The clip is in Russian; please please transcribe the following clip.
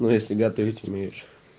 но если готовить умеешь